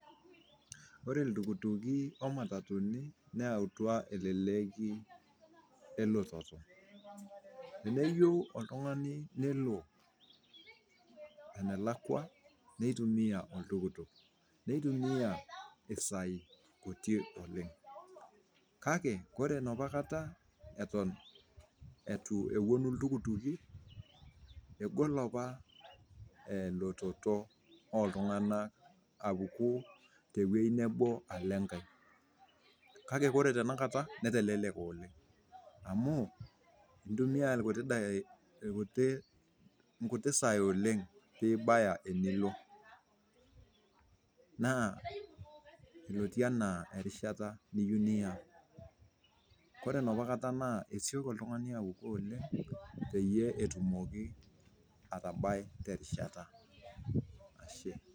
Ore ltukutuuki oo matatuni neatua eleleki elototo, teneyiu oltungani nelo enaklakwa, neitumiya oltuktuk, neitumiya mpisaii kutiik oleng, kake kore nepa kata eton etu eponu ltuktukii, egol apa elototo ooltungana apuku te weji nabo alo inkae, kake kore tenakata neteleleka oleng amuu intumiya lkutii dakikai, nkutii saii oleng piibaya enilo, naa netii anaa erishata niyeu niya, ore napa kata naa esioki oltungana apuku oleng, peyie etumoki atabai te rishata, ashe.